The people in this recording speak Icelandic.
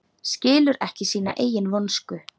Skilur ekki sína eigin vonsku.